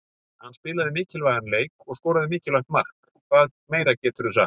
Hann spilaði mikilvægan leik og skoraði mikilvægt mark, hvað meira geturðu sagt?